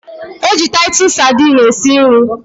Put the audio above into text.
E ji taitus Sadini esi nri